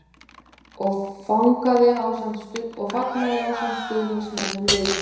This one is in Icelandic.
. og fagnaði ásamt stuðningsmönnum liðsins.